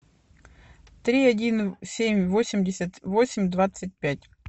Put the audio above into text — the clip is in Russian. три один семь восемьдесят восемь двадцать пять